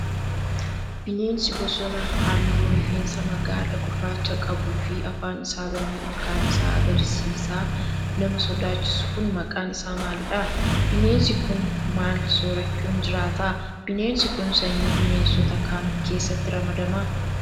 Bineensi bosonaa haalluu rifeensaa magaala gurraacha qabuu fi afaan isaa banee ilkaan isaa agarsiisaa nama sodaachisu kun maqaan isaa maalidha? Bineensi kun, maal soorachuun jiraata? Bineensi kun, sanyii bineensotaa kam keessatti ramadama?